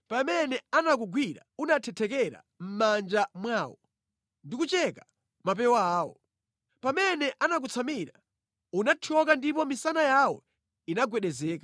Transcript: Pamene anakugwira unathethekera mʼmanja mwawo ndi kucheka mapewa awo. Pamene anakutsamira, unathyoka ndipo misana yawo inagwedezeka.